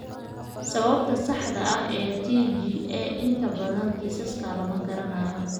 Sababta saxda ah ee TGA inta badan kiisaska lama garanayo.